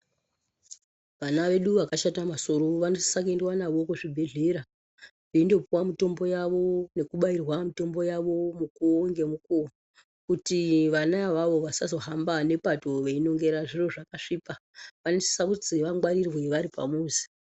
Vana vedu vakashata masoro vanosisa kuendiwa navo kuzvibhedhlera veindopuwa mutombo yavo nekubairwa mutombo yavo mukuwo ngemukuwo kuti vana avavo vasazohamba nepato veinongera zviro zvakasvipa, vanosisa kuzi vangwarirwe varipamuzi.